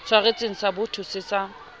tshwaretseng sa boto se sa